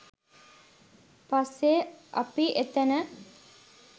පස්සේ අපි එතැන